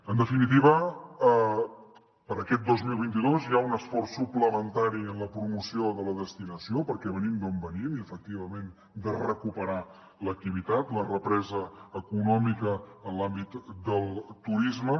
en definitiva per a aquest dos mil vint dos hi ha un esforç suplementari en la promoció de la destinació perquè venim d’on venim i efectivament de recuperar l’activitat la represa econòmica en l’àmbit del turisme